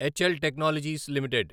HL Technologies limited